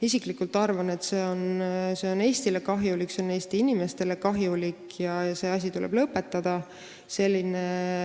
Isiklikult arvan, et see on kahjulik Eestile ja Eesti inimestele ning see asi tuleb lõpetada.